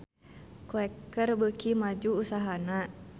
Quaker beuki maju usahana